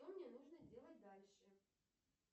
что мне нужно делать дальше